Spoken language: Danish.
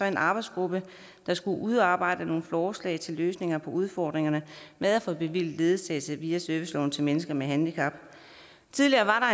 en arbejdsgruppe der skulle udarbejde forslag til løsninger på udfordringerne med at få bevilget ledsagelse via serviceloven til mennesker med handicap tidligere